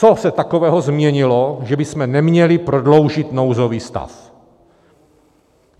Co se takového změnilo, že bychom neměli prodloužit nouzový stav?